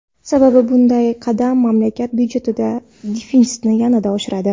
Sababi, bunday qadam mamlakat budjetidagi defitsitni yanada oshiradi.